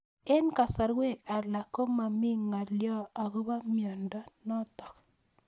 Eng'kasarwek alak ko mami ng'alyo akopo miondo notok